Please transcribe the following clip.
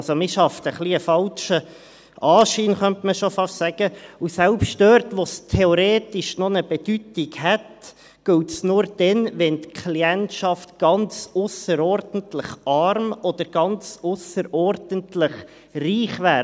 Also: Man schafft ein wenig einen falschen Anschein, könnte man schon fast sagen, und selbst dort, wo es theoretisch noch eine Bedeutung hätte, gilt es nur dann, wenn die Klientschaft ganz ausserordentlich arm oder ganz ausserordentlich reich wäre.